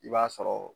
I b'a sɔrɔ